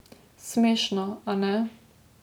Smešno, ane?